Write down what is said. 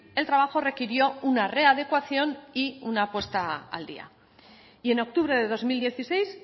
el trabajo requirió una readecuación y una puesta al día y en octubre de dos mil dieciséis